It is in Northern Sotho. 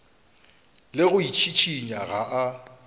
le go itšhišinya ga a